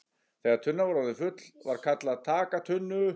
Þegar tunnan var orðin full var kallað TAKA TUNNU!